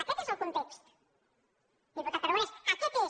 aquest és el context diputat aragonès aquest és